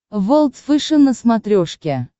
волд фэшен на смотрешке